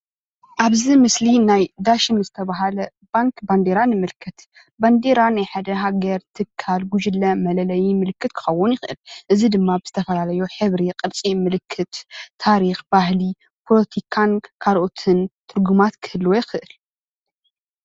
ኣብዚ ምስሊ ናይ ዳሽን ዝተባሃለ ባንክ ባንደራ ንምልከት፡፡ ባንደራ ናይ ሓደ ሃገር፣ ትካል፣ ጉጅለ መለለይ ምልክት ክከውን ይክእል፡፡ እዚ ድማ ብዝተፈላለዩ ሕብሪ፣ ቅርፂ፣ ምልክት፣ ታሪክ፣ ባህሊ፣ ፖለቲካን ካልኦትን ትርጉማት ክህልዎ ይክእል፡፡